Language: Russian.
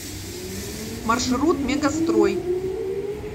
маршрут мегастрой